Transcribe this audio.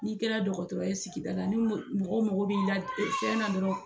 N'i kɛra dɔkɔtɔrɔ ye sigida la ni mɔgɔ mɔgɔ b'i la dɔrɔn